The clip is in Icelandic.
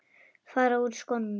Fara úr skónum.